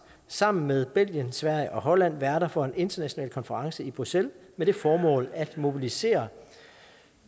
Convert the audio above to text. sammen med belgien sverige og holland værter for en international konference i bruxelles med det formål at mobilisere